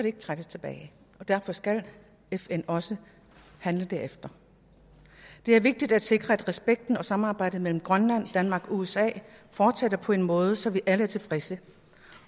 ikke trækkes tilbage og derfor skal fn også handle derefter det er vigtigt at sikre at respekten og samarbejdet mellem grønland danmark og usa fortsætter på en måde så vi alle er tilfredse